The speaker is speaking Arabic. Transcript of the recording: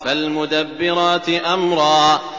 فَالْمُدَبِّرَاتِ أَمْرًا